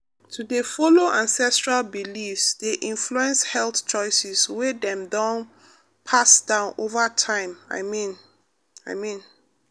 to dey follow ancestral beliefs dey influence health choices wey dem don pass down over time i mean i mean.